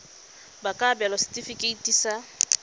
ba ka abelwa setefikeiti sa